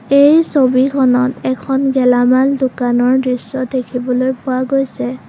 এই ছবিখনত এখন গেলামাল দোকানৰ দৃশ্য দেখিবলৈ পোৱা গৈছে।